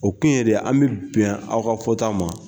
O to yen dɛ an bɛ bɛn aw ka fɔta ma.